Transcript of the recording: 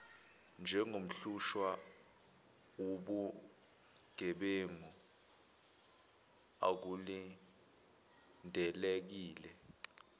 njengomhlushwa wobugebengu akulindelekile